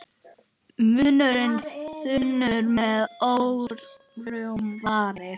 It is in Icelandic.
Munnur þunnur með örmjóar varir.